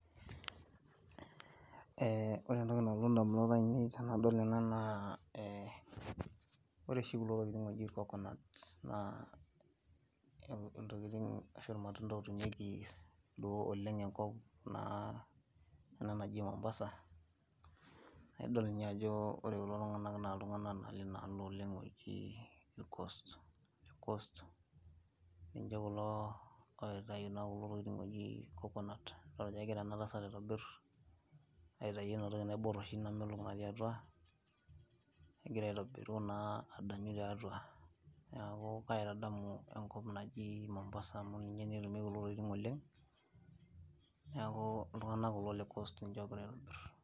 Ee ore entoki nalotu ndamunot ainei tanadol ena na ore oshi kulo tokitin oji kokonut na ntokitin natii enkop naji mombasa na idol ajo ore kulo tunganak na ltunganak oji le coast lijo kulo ootae kuna tokitin naji cocomut idok ajo egira enatasat aitobir aitau enatoki naibor natii atua egira adanya na ninye etumieki neaky ltunganak kuko le. Coast ninche ogira aitobir